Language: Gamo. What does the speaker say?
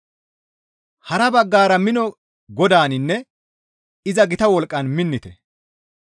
Hara baggara mino Godaaninne iza gita wolqqan minnite.